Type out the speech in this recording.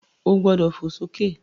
O gbọ́dọ̀ fò sókè!